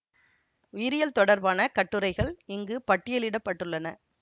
உயிரியல் தொடர்பான கட்டுரைகள் இங்கு பட்டியலிட பட்டுள்ளன